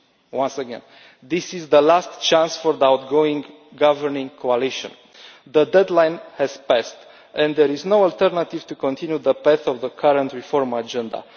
Once again this is the last chance for the outgoing governing coalition. The deadline has passed, and there is no alternative to continuing on the path of the current reform agenda.